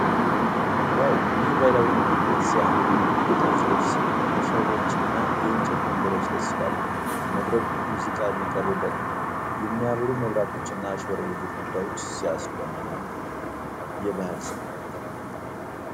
ዋው! ይህ ባህላዊ ምግብ ቤት ሲያምር ! የጥልፍ ልብስ መሶቦችና የእንጨት ወንበሮች ደስ ይላሉ ። መድረኩ ሙዚቃ የሚቀርብበት ነው። የሚያበሩ መብራቶችና ያሸበረቁ ግድግዳዎች ሲያስደምሙ!። የባህል ስሜት!